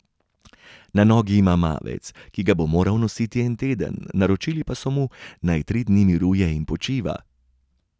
Na nogi ima mavec, ki ga bo moral nositi en teden, naročili pa so mu, naj tri dni miruje in počiva.